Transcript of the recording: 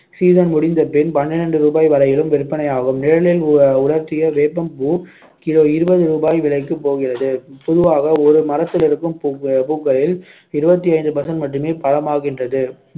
season முடிந்த பின் பன்னிரெண்டு ரூபாய் வரையிலும் விற்பனையாகும் நிழலில் உலர்த்திய வேப்பம் பூ kilo இருபது ரூபாய் விலைக்கு போகிறது பொதுவாக ஒரு மரத்திலிருக்கும் பூக்க~ பூக்களில் இருபத்தி ஐந்து percent மட்டுமே பழமாகின்றது